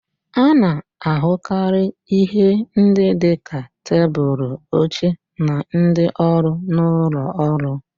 A na-ahụkarị ihe ndị dị ka tebụlụ, oche, na ndị ọrụ n'ụlọ ọrụ